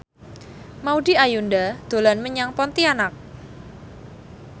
Maudy Ayunda dolan menyang Pontianak